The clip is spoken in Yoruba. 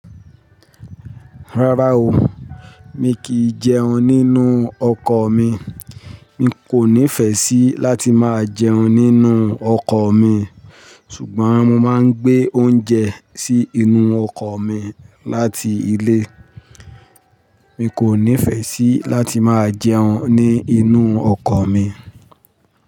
Rárá o, mi kìí jẹun nínú ọkọ̀ mi. Mi kò nífẹ̀ẹ́ sí láti máa jẹun nínú ọkọ̀ mi, ṣùgbọ́n mo máa ń gbé oúnjẹ sí inú ọkọ̀ mi láti ilé. Mi kò nífẹ̀ẹ́ sí láti máa jẹun ní inú ọkọ̀ mi.